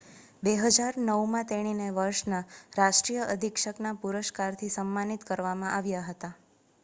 2009 માં તેણીને વર્ષના રાષ્ટ્રીય અધિક્ષકના પુરસ્કારથી સમ્માનિત કરવામાં આવ્યા હતા